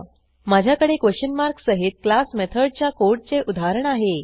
माझ्याकडे question mark सहित class मेथडच्या कोडचे उदाहरण आहे